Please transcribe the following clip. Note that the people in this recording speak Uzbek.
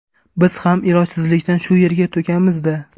Biz ham ilojsizlikdan shu yerga to‘kamiz-da.